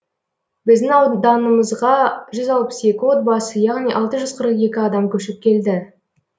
біздің ауданымызға жүз алпыс екі отбасы яғни алты жүз қырық екі адам көшіп келді